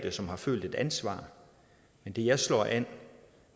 og som har følt et ansvar men det jeg slår an